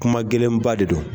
Kuma gɛlɛnba de don